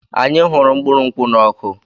Anyị hụrụ mkpụrụ nkwụ́ n'ọkụ.